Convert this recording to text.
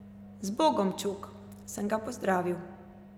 Zbogom, čuk, sem ga pozdravil.